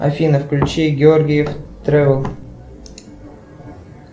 афина включи георгиев тревел